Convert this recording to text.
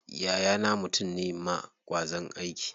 Yayana mutum ne ma ƙwazon aiki.